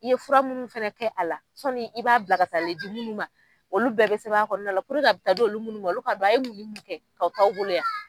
I ye fura munnu fɛnɛ kɛ a la sɔni i b'a bila ka taalen di munnu ma olu bɛɛ bɛ sɛbɛn a kɔnɔ la a bɛ taa di olu munnu ma ka don a ye mun ni mun kɛ ka to aw bolo yan.